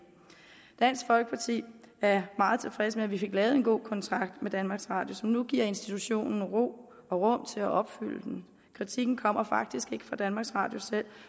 dansk folkeparti er meget tilfredse med at vi fik lavet en god kontrakt med danmarks radio som nu giver institutionen ro og rum til at opfylde den kritikken kommer faktisk ikke fra danmarks radio selv